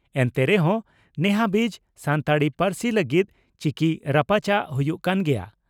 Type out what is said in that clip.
ᱮᱱᱛᱮ ᱨᱮᱦᱚᱸ ᱱᱮᱦᱟᱹᱵᱤᱡ ᱥᱟᱱᱛᱟᱲᱤ ᱯᱟᱹᱨᱥᱤ ᱞᱟᱹᱜᱤᱫ ᱪᱤᱠᱤ ᱨᱟᱯᱟᱪᱟᱜ ᱦᱩᱭᱩᱜ ᱠᱟᱱ ᱜᱮᱭᱟ ᱾